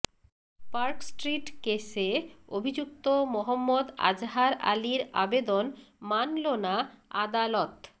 Park Street কেসে অভিযুক্ত মহম্মদ আজহার আলির আবেদন মানল না আদালত